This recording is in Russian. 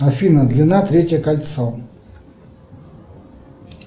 афина длина третье кольцо